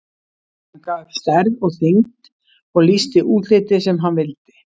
Hann gaf upp stærð og þyngd og lýsti útliti sem hann vildi.